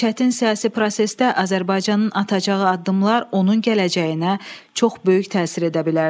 Bu çətin siyasi prosesdə Azərbaycanın atacağı addımlar onun gələcəyinə çox böyük təsir edə bilərdi.